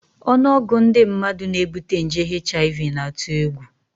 Ọnụọgụ ndị mmadụ na-ebute nje HIV na-atụ egwu